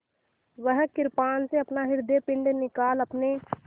वह कृपाण से अपना हृदयपिंड निकाल अपने